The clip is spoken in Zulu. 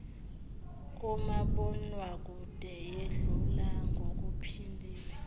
kumabonwakude yedlula ngokuphindiwe